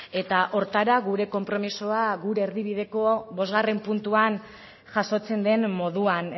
eta horretara gure konpromisoa gure erdibideko bosgarren puntuan jasotzen den moduan